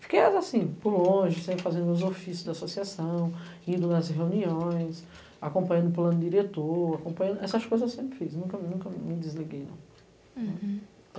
Fiquei, assim, por longe, sempre fazendo meus ofícios da associação, indo nas reuniões, acompanhando o plano diretor, acompanhando... essas coisas eu sempre fiz, nunca me desliguei, não.